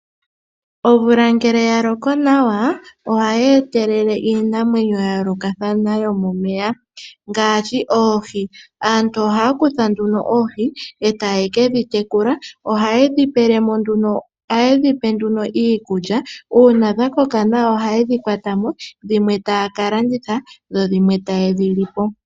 Omvula ngele yaloko nawa, ohayi etelele iinamwenyo ya yoolokothana yomomeya ngaashi oohi. Aantu ohaya oohi etayedhi kedhi tekula. Ohaye pelemo nduno iikulya uuna dhakoka nawa oha yedhi kwatamo dhimwe taya kalanditha dhimwe tayali.